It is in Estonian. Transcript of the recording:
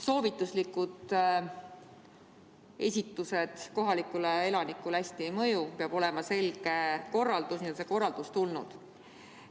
Soovituslikkus kohalikule elanikule väga ei mõju, peab olema selge korraldus, nüüd on see korraldus tulnud.